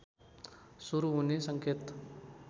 सुरु हुने सङ्केत